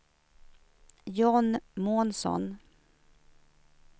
John Månsson